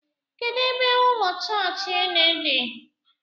Kedụ ebe ụlọ chọọchị ụnụ dị?